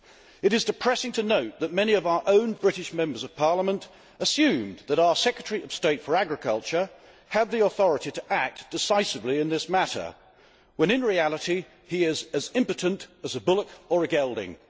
It is depressing to note that many of our own British Members of Parliament assumed that our Secretary of State for Agriculture had the authority to act decisively in this matter, when in reality he is as impotent as a bullock or a gelding.